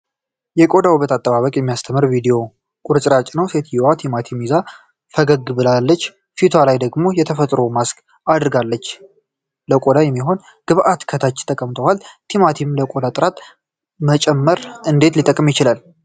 የቆዳ ውበት አጠባበቅ የሚያስተምር ቪዲዮ ቁርጥራጭ ነው። ሴትዮዋ ቲማቲም ይዛ ፈገግ ብላለች፤ ፊቷ ላይ ደግሞ የተፈጥሮ ማስክ አድርጋለች። ለቆዳ የሚሆን ግብዓቶች ከታች ተቀምጠዋል። ቲማቲም ለቆዳ ጥራት መጨመር እንዴት ሊጠቅም ይችላል?